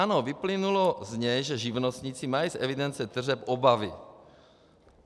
Ano, vyplynulo z něj, že živnostníci mají z evidence tržeb obavy.